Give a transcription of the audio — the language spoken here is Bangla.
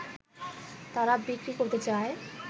তারা বিক্রী করতে চায়